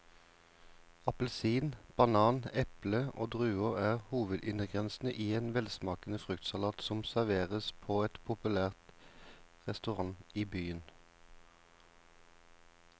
Appelsin, banan, eple og druer er hovedingredienser i en velsmakende fruktsalat som serveres på en populær restaurant i byen.